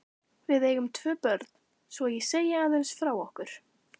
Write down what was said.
Við eigum tvö börn, svo ég segi aðeins frá okkur.